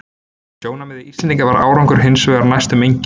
Frá sjónarmiði Íslendinga var árangurinn hins vegar næstum enginn.